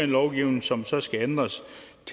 lovgivning som så skal ændres